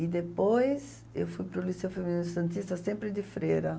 E depois eu fui para o Liceu Feminino Santista sempre de freira.